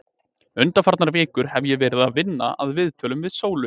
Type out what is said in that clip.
Undanfarnar vikur hef ég verið að vinna að viðtölunum við Sólu.